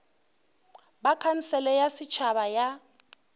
ba khansele ya setšhaba ya